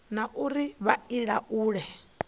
na uri vha i laule